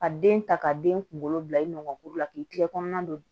Ka den ta ka den kunkolo bila i nɔgɔn la k'i tile kɔnɔna don